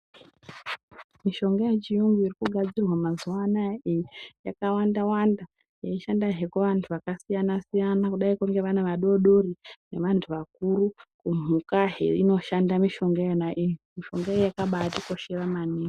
Mishonga yechuyungu irikugadzirwa mazuva anaya yakawanda-wanda, yeishandahe kuvantu vakasiyana-siyana. Kudaiko ngevana vadodori nevantu vakuru kumhukazve inoshanda mishonga iyona iyi mishonga iyona yakabatikoshera maningi.